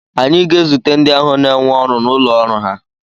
anyị ga-ezute ndị ahụ n'énwe ọrụ n'ụlọ ọrụ ha